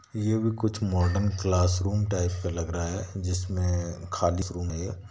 ये भी कुछ मॉडर्न क्लासरूम टाइप का लग रहा है जिसमें खाली रूम है।